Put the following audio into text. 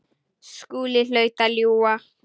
Skúli hlaut að ljúga.